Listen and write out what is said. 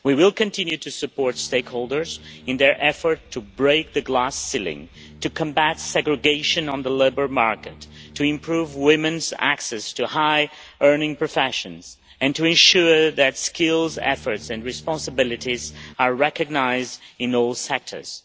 We will continue to support stakeholders in their effort to break the glass ceiling, to combat segregation on the labour market, to improve women's access to high-earning professions and to ensure that skills, efforts and responsibilities are recognised in all sectors.